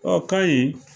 Ɔ kayi